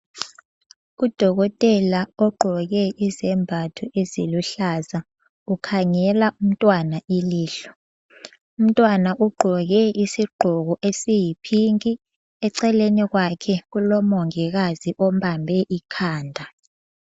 Udokotela ogqoke izembatho eziluhlaza, ukhangela umntwana ilihlo. Umntwana ugqoke isigqoko esiyiphinki, eceleni kwakhe kulomongikazi ombambe ikhanda.